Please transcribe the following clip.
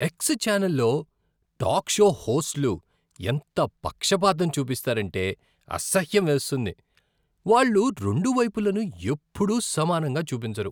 X ఛానెల్లో talk show హోస్ట్లు ఎంత పక్షపాతం చూపిస్తారంటే అసహ్యం వేస్తుంది. వాళ్ళు రెండువైపులను ఎప్పుడూ సమానంగా చూపించరు.